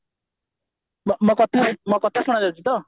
ମୋ କଥା ଶୁଣାଯାଉଛି ତ